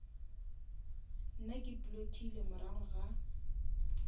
nna ke blockile morago ga